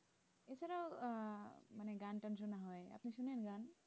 ও আহ হয় আপনি শোনেন গান?